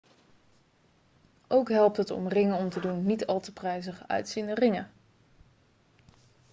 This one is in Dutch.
ook helpt het om ringen om te doen niet al te prijzig uitziende ringen